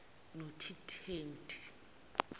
notitendi